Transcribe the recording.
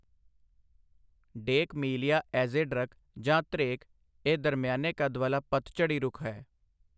ਡੇਕ Melia azedarach ਜਾਂ ਧ੍ਰੇਕ ਇਹ ਦਰਮਿਆਨੇ ਕੱਦ ਵਾਲਾ ਪੱਤਝੜ੍ਹੀ ਰੁੱਖ ਹੈ।